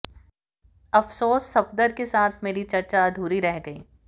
अफसोस सफदर के साथ मेरी चर्चा अधूरी रह गयी